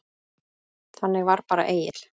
Þannig var bara Egill.